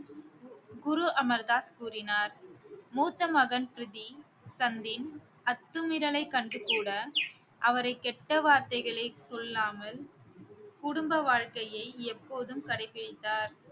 குரு அமர் தாஸ் கூறினார் மூத்த மகன் பிரித்தி சந்தின் அத்துமீறலை கண்டு கூட அவரை கெட்ட வார்த்தைகளை சொல்லாமல் குடும்ப வாழ்க்கையை எப்போதும் கடைபிடித்தார்